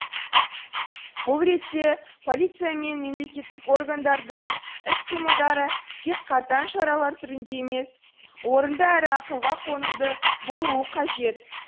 бұл ретте полиция мен мемлекеттік органдардың іс қимылдары тек қатаң шаралар түрінде емес орынды әрі ақылға қонымды болуы қажет